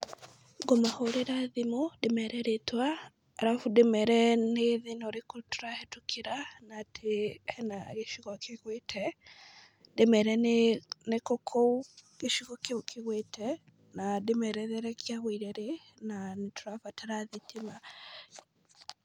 Ngũmahũrĩra thimũ ndĩmere rĩtwa arabu ndĩmere nĩ thĩna ũrĩkũ tũrahĩtũkĩra na atĩ hena gĩcigo kĩgwĩte ndĩmere nĩkũ kũu gĩcigo kĩu kĩgwĩte na ndĩmere rĩrĩa kĩagũire rĩ na nĩtũrabatara thitima.